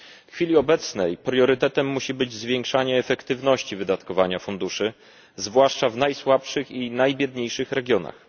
W chwili obecnej priorytetem musi być zwiększanie efektywności wydatkowania funduszy, zwłaszcza w najsłabszych i najbiedniejszych regionach.